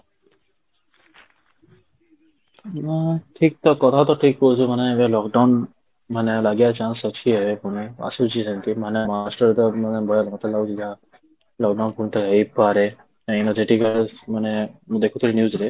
ହଁ ଠିକ ତ କଥା ତ ଠିକ କହୁଚ ଏବେ ମାନେ lockdown ମାନେ ଲାଗିବାର chance ଅଛି ଏବେ ପୁଣି ଆସୁଛି ଯେମିତି ମାନେ marchରେ ତ ମତେ ଲାଗୁଚି ଯାହା lockdown ପୁଣି ଥରେ ହେଇପାରେ ନାଇଁ ମତେ ଠିକ ମାନେ ମୁଁ ଦେଖୁଥିଲି news ରେ